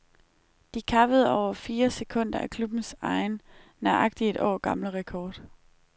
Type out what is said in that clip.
De kappede over fire sekunder af klubbens egen, nøjagtigt et år gamle rekord.